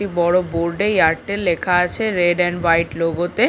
বড় বোর্ড এ এয়ারটেল লেখা আছে রেড এন্ড হোয়াইট লোগো তে।